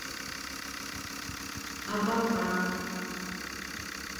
абакан